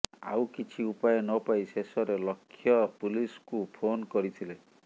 ଆଉ କିଛି ଉପାୟ ନପାଇ ଶେଷରେ ଲକ୍ଷ୍ୟ ପୁଲିସ୍କୁ ଫୋନ୍ କରିଥିଲେ